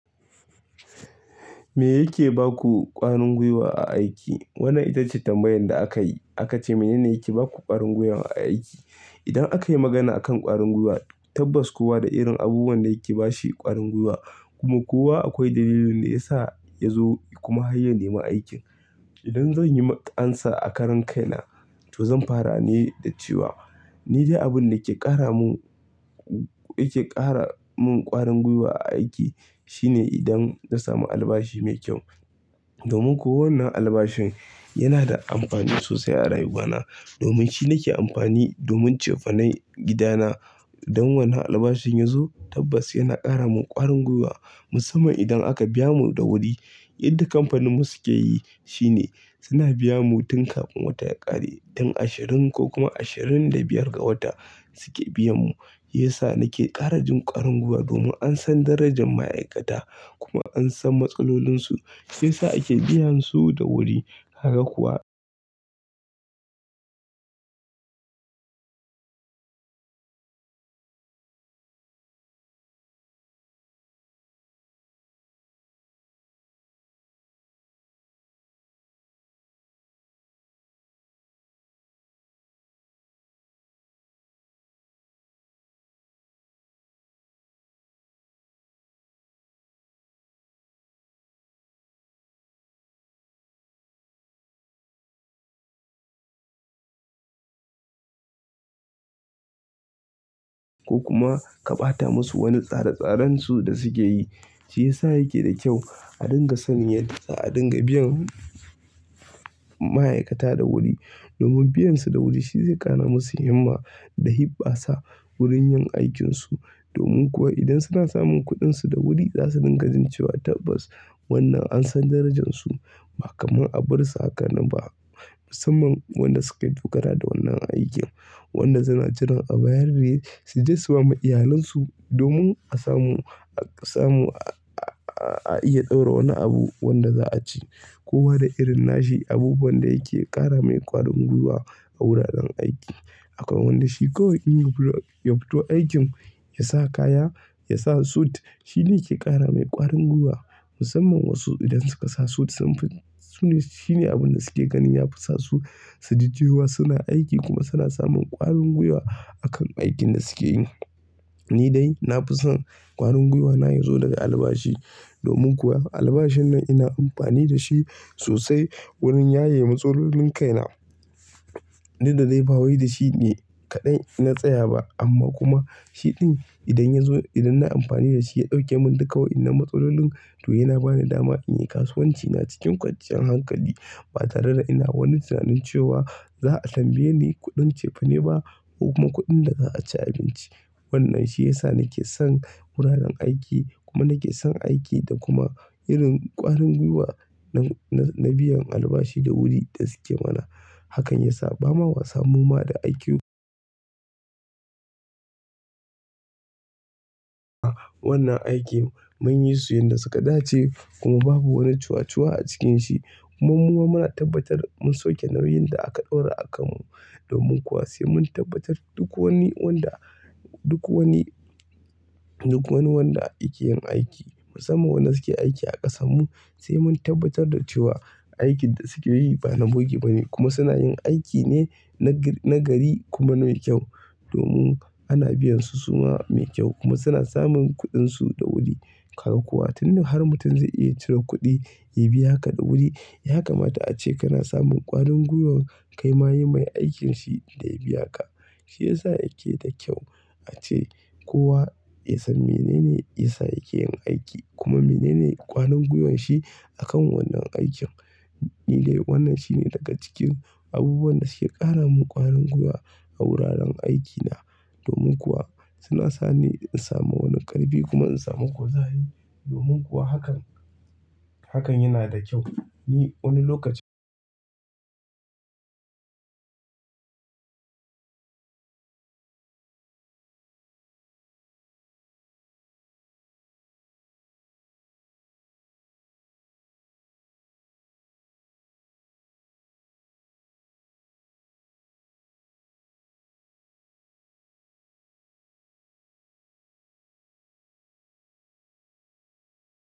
Me yake baku ƙwarin gwiwa a aiki? Wannan ita ce tambayar da aka yi. A ka ce, "Mene ne yake baku ƙwarin gwiwa a aiki?" Idan aka yi magana akan ƙwarin gwiwa, tabbas kowa da irin abubuwan da yake bashi ƙwarin gwiwa kuma kowa akwai dalilin da ya sa ya zo kuma ya neman aikin. Idan zan yi amsa a karan kaina, to zan fara ne da cewa ni dai abin da ke ƙara mun, yake ƙara mun ƙwarin gwiwa a aiki shine idan na samu albashi mai kyau. Domin ko wannan albashin yana da amfani sosai a rayuwana. Domin shi nake amfani domin cefane gidana. Dan wani albashin yazo, tabbas yana kara mun kwarin gwiwa, musamman idan aka biya ku da wuri. Yadda kamfaninmu suke yi shine suna biya mu tun kafin wata ya ƙare. Tun ashirin ko kuma ashirin da biyar ga wata suke biya mu. Yasa nake ƙara jin ƙwarin gwiwa domin an san darajar ma'aikata kuma an san matsalolinsu. Shi yasa ake biyan su da wuri. Kaga kuwa-- ko kuma ka ɓata musu wani tsare-tsaren su da suke yi. Shi ya sa yake da kyau a dinga saniyar, a dinga biyan ma'aikata da wuri. Domin biyan su da wuri shi zai ƙara masu himma da hibɓa sa wurin yin aikin su. Domin kuwa idan suna samun kuɗinsu da wuri za su dinga jin cewa tabbas wannan an san darajarsu ba kamar a bar su a kanan ba. Musamman wanda suka yi tukara da wannan aikin. Wannan suna jiran a bayar ne su je su ba ma iyalansu domin a samu, a samu, a iya ɗaura wani abu wanda za a ci. Kowa da irin nashi abubuwan da yake ƙara mai ƙwarin gwiwa a wuraren aiki. Akwai wanda shi kawai ya fito aikin, ya sa kaya, ya sa sut shine yake ƙara mai ƙwarin gwiwa. Musamman wasu idan suka sa sut sun fi, sune, shine abin da suke ganin ya fasa su su ji cewa suna aiki kuma suna samun ƙwarin gwiwa akan aikin da suke yi. Ni dai na fi son ƙwarin gwiwana ya zo daga albashi. Domin kuwa albashin nan ina amfani da shi sosai wurin yaye matsalolin kaina. Inda dai ba wai da shi ne kaɗai ina tsaya ba amma kuma shiɗin idan ya zo, idan na amfani da shi ya ɗauke mun duka waɗannan matsalolin domin yana bani dama in yi kasuwanci na cikin kwanciyar hankali. Ba tare da ina wani tunanin cewa za a tambaye ni kuɗin cefane ba ko kuma kuɗin da za a ci abinci. Wannan shi ya sa nake son wuraren aiki kuma nake son aiki da kuma irin ƙwarin gwiwa na biyan albashi da wuri da suke mana. Hakan ya sa ba ma wasa muma da aikin-- wannan aiki mun yi su yadda suka dace kuma babu wani cuacuwa a cikin shi. Kuma muma muna tabbatar mun sauke nauyin da aka ɗaura a kan mu. Domin kuwa sai mun tabbatar duk wani wanda, duk wani, duk wani wanda yake yin aiki. Musamman waɗanda suke aiki a ƙasarmu sai mun tabbatar da cewa aikin da suke yi ba na bugi ba ne kuma suna yin aiki ne na gari kuma mai kyau. Domin ana biyan su suma mai kyau kuma suna samun kuɗinsu da wuri. Haka kuwa tun da har mutum zai iya cire kuɗi ya biya ka da wuri, ya kamata ace kana samun ƙwarin gwiwar kai ma yi mai aikin shi da ya biya ka. Shi ya sa yake da kyau ace kowa ya san menene ya sa yake yin aiki kuma menene ƙwarin gwiwan shi akan wannan aikin. Ni dai wannan shine daga cikin abubuwan da suke ƙara mun ƙwarin gwiwa a wuraren aikina. Domin kuwa suna sa ni in samu wani ƙarfi kuma in samu kuzari. Domin kuwa hakan, hakan yana da kyau. Ni wani lokacin--